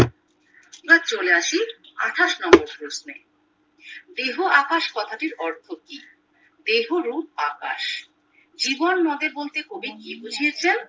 আমরা চলে আসি আঠাশ নম্বর প্রশ্নে দেহ আকাশ কথাটির অর্থ কি দেহ রূপ বাতাস জীবননদে বলতে কবি কি বুঝিয়েছেন